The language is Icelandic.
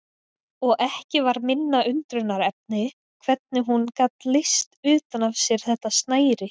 Og ekki var minna undrunarefni hvernig hún gat leyst utan af sér þetta snæri.